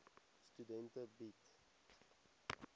studente bied